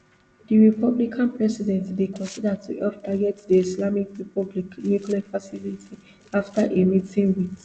di republican president dey consider to help target di islamic republic nuclear facilities afta a meeting wit